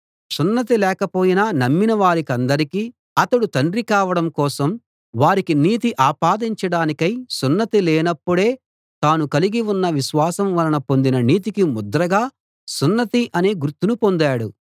సున్నతి లేకపోయినా నమ్మిన వారికందరికీ అతడు తండ్రి కావడం కోసం వారికి నీతి ఆపాదించడానికై సున్నతి లేనప్పుడే తాను కలిగి ఉన్న విశ్వాసం వలన పొందిన నీతికి ముద్రగా సున్నతి అనే గుర్తును పొందాడు